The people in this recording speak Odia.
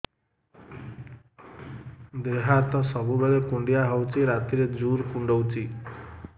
ଦେହ ହାତ ସବୁବେଳେ କୁଣ୍ଡିଆ ହଉଚି ରାତିରେ ଜୁର୍ କୁଣ୍ଡଉଚି